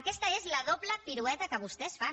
aquesta és la doble pirueta que vostès fan